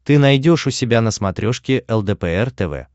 ты найдешь у себя на смотрешке лдпр тв